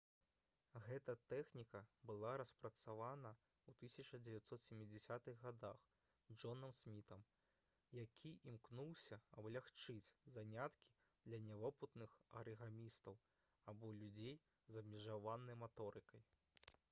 гэта тэхніка была распрацавана ў 1970-х гадах джонам смітам які імкнуўся аблягчыць заняткі для нявопытных арыгамістаў або людзей з абмежаванай маторыкай